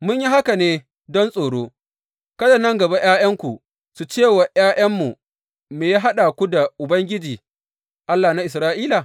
Mun yi haka ne don tsoro, kada nan gaba ’ya’yanku su ce wa ’ya’yanmu, Me ya haɗa ku da Ubangiji, Allah na Isra’ila?